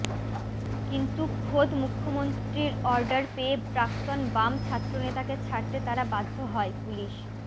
কিন্তু খোদ মুখ্যমন্ত্রীর অর্ডার পেয়ে প্রাক্তন বাম ছাত্রনেতাকে ছাড়তে তারা বাধ্য হয় পুলিশ